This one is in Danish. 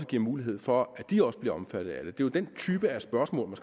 giver mulighed for at de også bliver omfattet af det det den type af spørgsmål